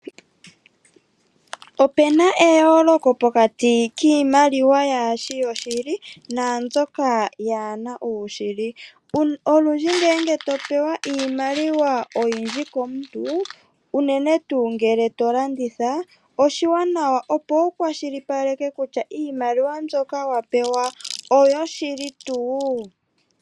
Opuna eyooloko pokati kiimaliwa yaashi yoshili naambyoka yaa na uushili. Olundji ngele to pewa iimaliwa komuntu, unene tuu ngele to landitha, oshiwanawa opo wu kwashilipaleke kutya iimaliwa mbi wa pewa oyo shili tuu?